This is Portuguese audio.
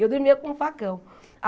Eu dormia com um facão.